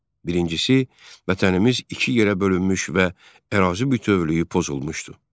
Birincisi, vətənimiz iki yerə bölünmüş və ərazi bütövlüyü pozulmuşdu.